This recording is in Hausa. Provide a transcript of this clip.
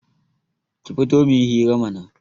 Ki fito muyi hira mana